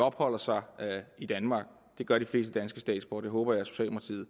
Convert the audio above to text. opholder sig i danmark det gør de fleste danske statsborgere det håber jeg